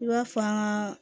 I b'a faa